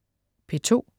P2: